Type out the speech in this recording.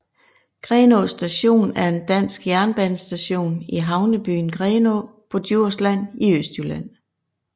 Grenaa Station er en dansk jernbanestation i havnebyen Grenaa på Djursland i Østjylland